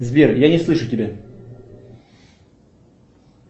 сбер я не слышу тебя